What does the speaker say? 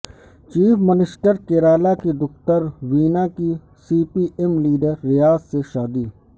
chief minister Kerala کی دختر وینا کی C P M leader Riyaz سے شادی